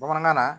Bamanankan na